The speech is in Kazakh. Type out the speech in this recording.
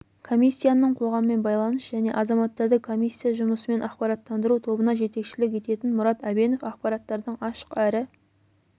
комиссияның қоғаммен байланыс және азаматтарды комиссия жұмысымен ақпараттандыру тобына жетекшілік ететін мұрат әбенов ақпараттардың ашық әрі